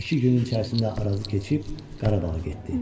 İki günün içərisində Arazı keçib Qarabağa getdi.